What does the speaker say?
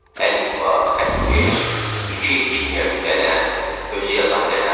Əlifba, xətkeş, iki kimyəvi qələm, özü yazan qələm.